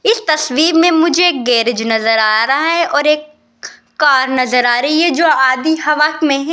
इस तस्वीर में मुझे एक गैरेज नजर आ रहा है और एक कार नजर आ रही है जो आधी हवा में --